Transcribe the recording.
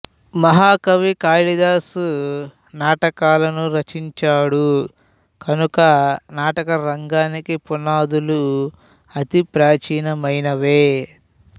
మహాకవి కాశిదాసు నాటకాలను రచించాడు కనుక నాటకరంగానికి పునాదులు అతి ప్రాచీనమనవే